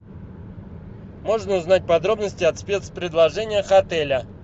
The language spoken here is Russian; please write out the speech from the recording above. можно узнать подробности о спецпредложениях отеля